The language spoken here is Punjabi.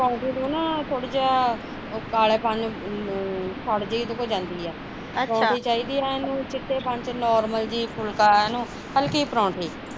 ਪਰੋਂਠੀ ਨੂੰ ਨਾ ਥੋੜਾ ਜਿਹਾ ਕਲੇਪਣ ਸੜ ਜਹੀ ਉਹਦੇ ਤੋਂ ਜਾਂਦੀ ਐ ਪਰੋਂਠੀ ਚਾਹਦੀ ਐ ਨੂੰ ਚਿੱਟੇਪਣ ਤੇ normal ਜਹੀ ਫੂਲਕਾ ਐ ਨੂੰ ਹਲਕੀ ਪਰੋਠੀ